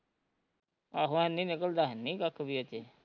ਆਹੋ ਏਨੀ ਨਿਕਲਦਾ ਹੈਨੀ ਕੱਖ ਵੀ ਇਹਦੇ ਚ